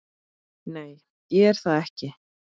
Nei, ég er það ekki.